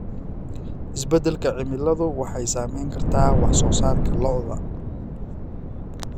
Isbeddelka cimiladu waxay saameyn kartaa wax soo saarka lo'da.